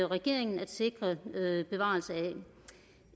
regeringen at sikre en bevarelse af